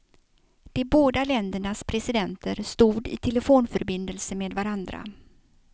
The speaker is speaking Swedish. De båda ländernas presidenter stod i telefonförbindelse med varandra.